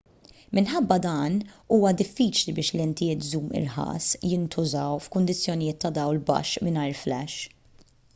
minħabba dan huwa diffiċli biex lentijiet żum irħas jintużaw f'kundizzjonijiet ta' dawl baxx mingħajr flash